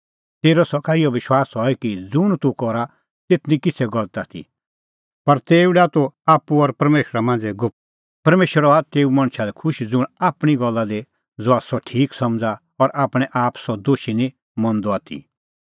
तेरअ सका इहअ विश्वास हई कि ज़ुंण तूह करा तेथ निं किछ़ै गलत आथी पर तेऊ डाह तूह आप्पू और परमेशरा मांझ़ै गुप्त परमेशर हआ तेऊ मणछा लै खुश ज़ुंण आपणीं गल्ला दी ज़हा सह ठीक समझ़ा और आपणैं आप सह दोशी निं मंदअ आथी